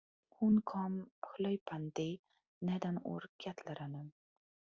Hún kom hlaupandi neðan úr kjallaranum.